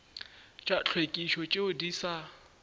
tša tlhwekišo tšeo di sa